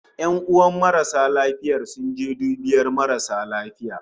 "Yanuwan marasa lafiya sun je dubiyar rashin lafiya